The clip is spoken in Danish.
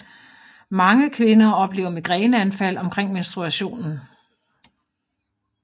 Mange kvinder oplever migræneanfald omkring menstruationen